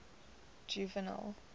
juvenal